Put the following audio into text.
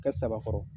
Kɛ saba kɔrɔ